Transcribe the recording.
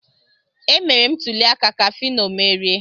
Emere m ntuli aka ka Fino merie.